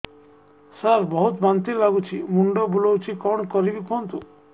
ସାର ବହୁତ ବାନ୍ତି ଲାଗୁଛି ମୁଣ୍ଡ ବୁଲୋଉଛି କଣ କରିବି କୁହନ୍ତୁ